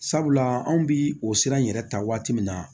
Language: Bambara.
Sabula anw bi o sira in yɛrɛ ta waati min na